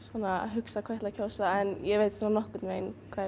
hugsa hvað ég ætla að kjósa en ég veit svona nokkurn vegin hvað